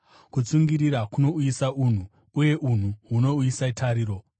kutsungirira kunouyisa unhu uye unhu hunouyisa tariro.